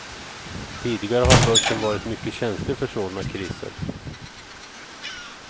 Tidigare har börsen varit mycket känslig för sådana kriser.